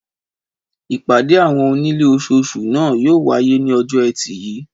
Ìpàdé àwọn onílé ososù náà yóò wáyé ní ojó ẹtì yìí